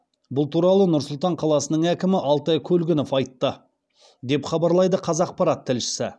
бұл туралы нұр сұлтан қаласының әкімі алтай көлгінов айтты деп хабарлайды қазақпарат тілшісі